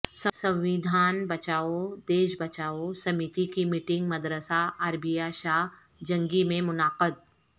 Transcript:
سنویدھان بچائو دیش بچائو سمیتی کی میٹنگ مدرسہ عربیہ شاہ جنگی میں منعقد